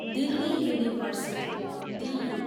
Delhi university, डियु